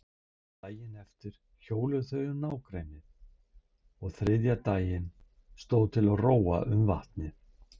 Daginn eftir hjóluðu þau um nágrennið og þriðja daginn stóð til að róa um vatnið.